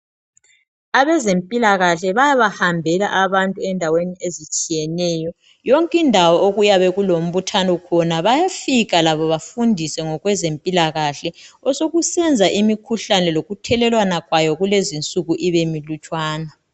Abezempilakahle bayabahambela abantu endaweni ezitshiyeneyo. Yonkindawo okuyabe kulmbuthano khona bayafika labo bafundise ngokwezempilakahle osekusenza imikhuhlane lokuthelelwana kwayo kulezinsuku ibe milutshwana .